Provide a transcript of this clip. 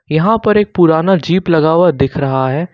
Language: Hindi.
यहां पर एक पुराना जीप लगा हुआ दिख रहा है।